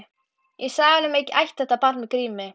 Ég sagði honum að ég ætti þetta barn með Grími